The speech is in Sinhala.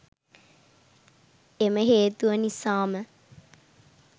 එම හේතුව නිසාම